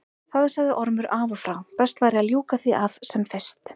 Það sagði Ormur af og frá, best væri að ljúka því af sem fyrst.